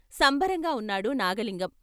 సంబరంగా ఉన్నాడు నాగలింగం.